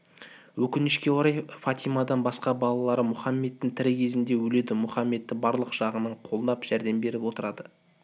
өкінішке орай фатимадан басқа балалары мұхаммедтің тірі кезінде өледі мүхаммедті барлық жағынан қолдап жәрдем беріп отырды